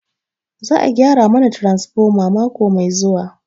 Za a gyara mana transfoma mako mai zuwa.